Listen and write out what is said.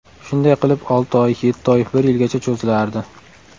Shunday qilib, olti oy, yetti oy, bir yilgacha cho‘zilardi.